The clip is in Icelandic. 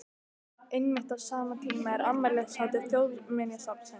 Einmitt á sama tíma er afmælishátíð Þjóðminjasafnsins í